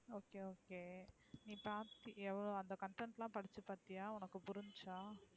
Okay okay நீ cost எவ்ளோ அந்த content லாம் படிச்சு பாத்தியா உனக்கு புரிஞ்சுச்சா.